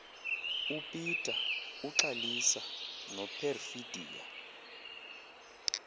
upeter uxalisa noperfidia